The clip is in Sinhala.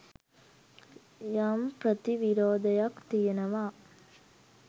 යම් ප්‍රතිවිරෝධයක් තියෙනවා.